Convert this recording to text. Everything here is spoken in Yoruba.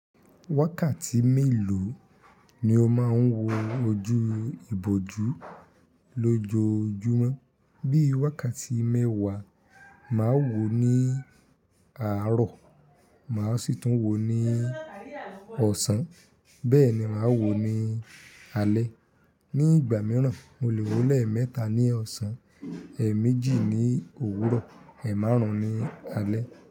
Wákàtí mélòó ni ó máa ń wo ojú ìbòjú lójoojúmọ́? Bí i wákàtí mẹ́wàá, màá wò ó ní àárọ̀, màá sì tún wò ó ní ọ̀sán, bẹ́ẹ̀ ni màá wò ó ní alẹ́. Ni ìgbà mìíràn, mo lè wò ó lẹ́ẹ̀ mẹ́ta ní ọ̀sán, ẹ̀ẹ̀ méjì ní òwúrọ̀, ẹ̀ẹ̀ márùn-ún ní alẹ́.